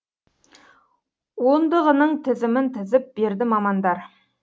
ондығының тізімін тізіп берді мамандар